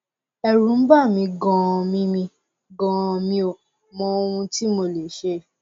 ẹrù ń bà mí ganan mi mí ganan mi ò mọ ohun tí mo lè ṣe